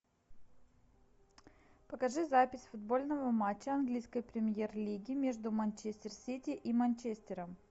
покажи запись футбольного матча английской премьер лиги между манчестер сити и манчестером